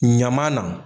Ɲama na